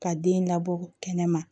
Ka den labɔ kɛnɛma